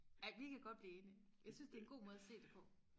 ja vi kan godt blive enige jeg synes det er en god måde og se det på